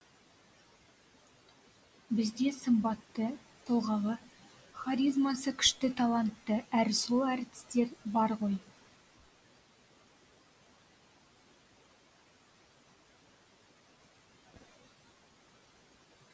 бізде сымбатты тұлғалы харизмасы күшті талантты әрі сұлу әртістер бар ғой